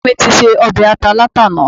Bàbá mi ti se ọbẹ̀ ata látàná